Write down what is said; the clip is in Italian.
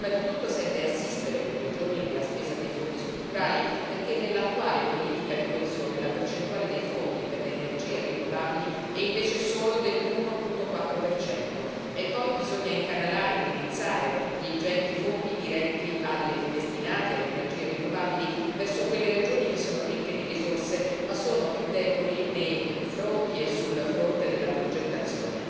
Prima di tutto serve assistere le regioni nella spesa dei fondi strutturali, perché nell'attuale politica di coesione la percentuale dei fondi per le energie rinnovabili è invece solo dell'1,4 E poi bisogna incanalare e indirizzare gli ingenti fondi destinati alle energie rinnovabili verso quelle regioni che sono ricche di risorse, ma sono più deboli nei fronti e sul fronte della progettazione.